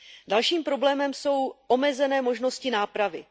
Dalším problémem jsou omezené možnosti nápravy.